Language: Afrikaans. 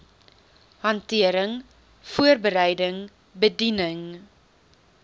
hantering voorbereiding bediening